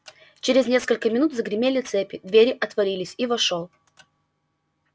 через несколько минут загремели цепи двери отворились и вошёл